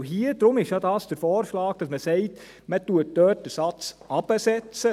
Deshalb lautet hier der Vorschlag, dass man sagt, man setze den Satz dort runter.